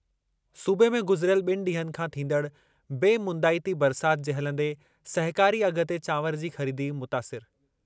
सूबे में गुज़िरियल ॿिनि ॾींहनि खां थींदड़ बेमुंदाइती बरसाति जे हलंदे सहिकारी अघि ते चांवर जी ख़रीदी मुतासिरु।